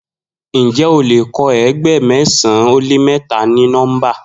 Njẹ o lè kọ eegba mẹsan o lè mẹta ni nọmba?